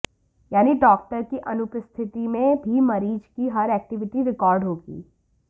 यानी डाक्टर की अनुपस्थिति में भी मरीज की हर एक्टिविटी रिकार्ड होगी